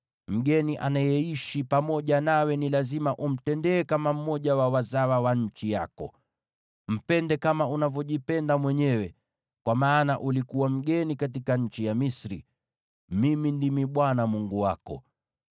Mgeni anayeishi pamoja nawe ni lazima umtendee kama mmoja wa wazawa wa nchi yako. Mpende kama unavyojipenda mwenyewe, kwa maana ulikuwa mgeni katika nchi ya Misri. Mimi ndimi Bwana Mungu wako.